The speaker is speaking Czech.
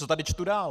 Co tady čtu dál?